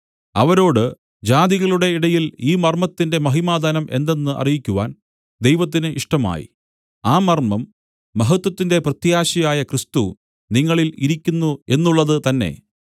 അവരോട് ജാതികളുടെ ഇടയിൽ ഈ മർമ്മത്തിന്റെ മഹിമാധനം എന്തെന്ന് അറിയിക്കുവാൻ ദൈവത്തിന് ഇഷ്ടമായി ആ മർമ്മം മഹത്വത്തിന്റെ പ്രത്യാശയായ ക്രിസ്തു നിങ്ങളിൽ ഇരിക്കുന്നു എന്നുള്ളത് തന്നെ